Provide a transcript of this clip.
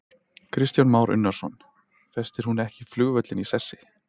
Kristján Már Unnarsson: Festir hún ekki flugvöllinn í sessi?